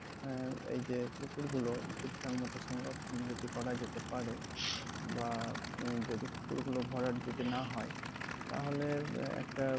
হ্যাঁ, এই যে পুকুরগুলো ঠিকঠাক মতো সংরক্ষণ যদি করা যেতে পারে বা মানে যদি পুকুরগুলো ভরাট যদি না হয় তাহলে আহ একটা